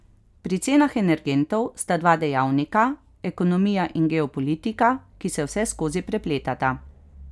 Pri cenah energentov sta dva dejavnika, ekonomija in geopolitika, ki se vseskozi prepletata.